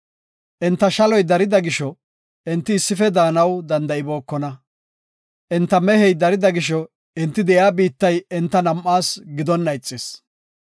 Enta shaloy darida gisho, enti issife daanaw danda7ibookona. Enta mehey darida gisho, enti de7iya biittay enta nam7aas gidonna ixis.